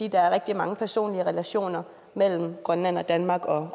er rigtig mange personlige relationer mellem grønland og danmark og